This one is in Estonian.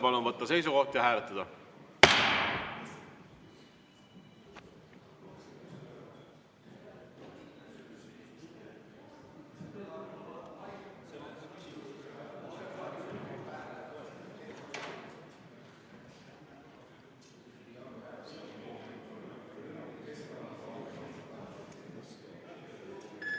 Palun võtta seisukoht ja hääletada!